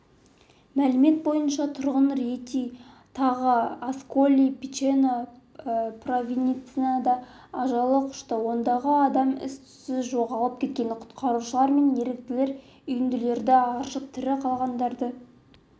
мәлімет бойынша тұрғын риети тағы асколи-пичено провинциясында ажал құшты ондаған адам із-түссіз жоғалып кеткен құтқарушылар мен еріктілер үйінділерді аршып тірі қалғандарды